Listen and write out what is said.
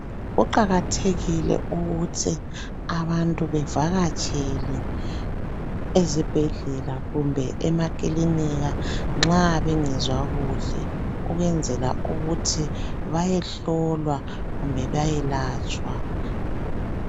Kuqakathekile ukuthi abantu bevakatshele ezibhedlela kumbe emakilinika nxa bengezwa kuhle ukwenzela ukuthi bayehlowa kumbe bayelatshwa.